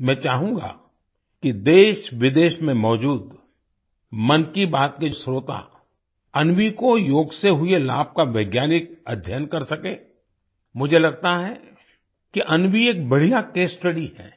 मैं चाहूँगा कि देशविदेश में मौजूद मन की बात के श्रोता अन्वी को योग से हुए लाभ का वैज्ञानिक अध्ययन कर सकें मुझे लगता है कि अन्वी एक बढ़िया केस studyहै